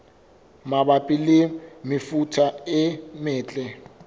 mabapi le mefuta e metle